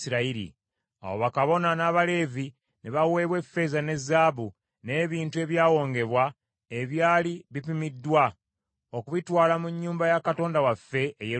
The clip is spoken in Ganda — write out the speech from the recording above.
Awo bakabona n’Abaleevi ne baweebwa effeeza ne zaabu, n’ebintu ebyawongebwa, ebyali bipimiddwa, okubitwala mu nnyumba ya Katonda waffe e Yerusaalemi.